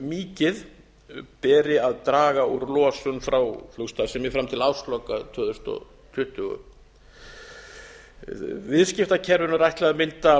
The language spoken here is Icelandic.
mikið beri að draga úr losun frá flugstarfsemi fram til ársloka tvö þúsund tuttugu viðskiptakerfinu er ætlað að mynda